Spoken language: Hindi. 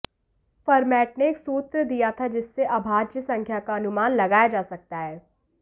फरमैट ने एक सूत्र दिया था जिससे अभाज्य संख्या का अनुमान लगाया जा सकता है